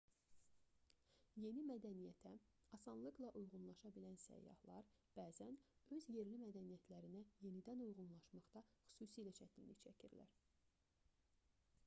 yeni mədəniyyətə asanlıqla uyğunlaşa bilən səyyahlar bəzən öz yerli mədəniyyətlərinə yenidən uyğunlaşmaqda xüsusilə çətinlik çəkirlər